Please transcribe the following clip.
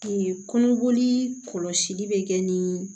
kɔnɔboli kɔlɔsili bɛ kɛ nin